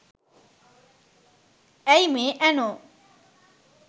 ඇයි මේ ඇනෝ